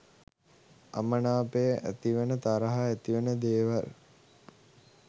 අමනාපය ඇතිවෙන තරහ ඇතිවෙන දේවල්